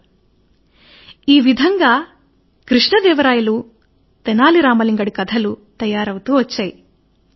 ఇదే విధముగా రాజా కృష్ణదేవరాయలు మంత్రి తెనాలి రామ లింగడి కథలు తయారవుతూ వచ్చాయి